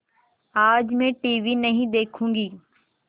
आज मैं टीवी नहीं देखूँगी